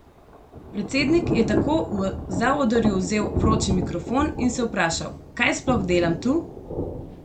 Predsednik je tako v zaodrju vzel 'vroči mikrofon' in se vprašal: 'Kaj sploh delam tu?